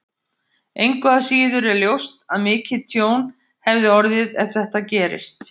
Engu að síður er ljóst að mikið tjón hefði orðið ef þetta gerist.